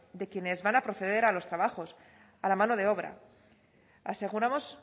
de quienes van a proceder a los trabajos a la mano de obra aseguramos